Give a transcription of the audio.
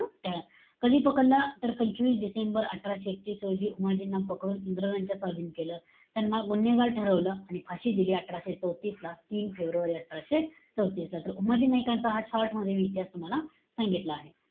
कधी पकडलं? तर, पंचवीस डिसेंबर अठराशे एकतीस रोजी, उमाजींना पकडून इंग्रजांच्या स्वाधीन केलं. त्यांना गुन्हेगार ठरवलं. आणि फाशी दिली, अठराशे चौतीसला. तीन फेब्रुवारी अठराशे चौतीस ला. तर, उमाजी नायकांचा हा short मध्ये इतिहास तुम्हाला सांगतलं आहे.